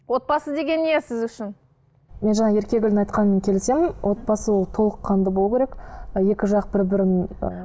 отбасы деген не сіз үшін мен жаңа еркегүлдің айтқанымен келісемін отбасы ол толыққанды болу керек і екі жақ бір бірін ы